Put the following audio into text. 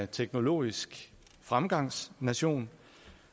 teknologisk fremgangsnation